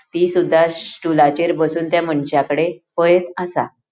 ती सुद्धा श स्टूलाचेर बसुन त्या मनशाकड़े पएथ आसा.